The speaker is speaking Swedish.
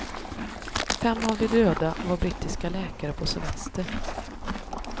Fem av de döda var brittiska läkare på semester.